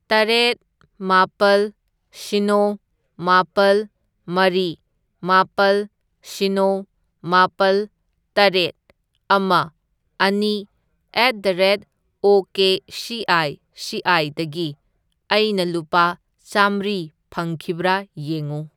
ꯇꯔꯦꯠ, ꯃꯥꯄꯜ, ꯁꯤꯅꯣ, ꯃꯥꯄꯜ, ꯃꯔꯤ, ꯃꯥꯄꯜ, ꯁꯤꯅꯣ, ꯃꯥꯄꯜ, ꯇꯔꯦꯠ, ꯑꯃ, ꯑꯅꯤ at the rate of K C I C ꯑꯥꯢꯗꯒꯤ ꯑꯩꯅ ꯂꯨꯄꯥ ꯆꯥꯝꯃ꯭ꯔꯤ ꯐꯪꯈꯤꯕ꯭ꯔꯥ ꯌꯦꯡꯉꯨ꯫